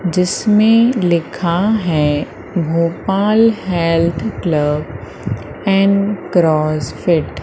जिसमें लिखा है Gopal Health Club and CrossFit.